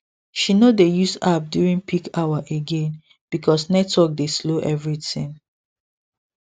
she no dey use app during peak hour again because network dey slow everything